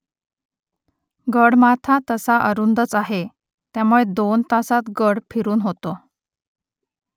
गडमाथा तसा अरुंदच आहे , त्यामुळे दोन तासांत गड फिरून होतो